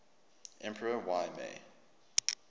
emperor y mei